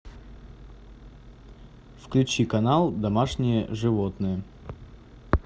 включи канал домашние животные